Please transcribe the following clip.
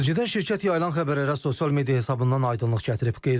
Sözügedən şirkət yayılan xəbərə sosial media hesabından aydınlıq gətirib.